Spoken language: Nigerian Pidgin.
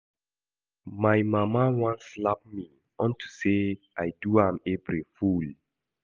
My mana wan slap me unto say I do am April fool